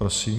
Prosím.